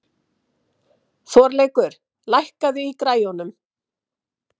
Þorleikur, lækkaðu í græjunum.